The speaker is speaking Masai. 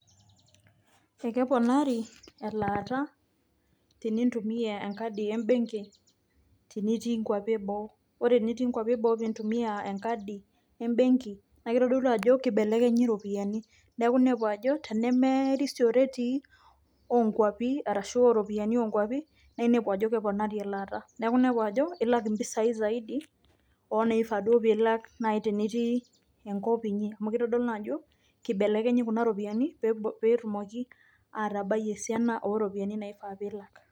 Kekeponari elaata tenintumia enkadi embenki tenitii nkuapi eboo, ore enitii nkuapi eboo piintumia enkadi embenki naake itodolu ajo kibelekenyi iropiani. Neeku inepu ajo tenemerisio retii oo nkuapi arashu oo ropiani oo nkuapi naa inepu ajo keponari elaata. Neeku inepu ajo ilak impisai zaidi oo naifaa duo piilak nai tenitii enkop inyi amu kitodolu naa ajokibelekenyi kuna ropiani pee etumoki atabai esiana o ropiani naifaa piilak.